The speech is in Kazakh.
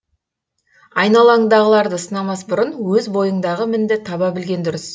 айналаңдағыларды сынамас бұрын өз бойыңдағы мінді таба білген дұрыс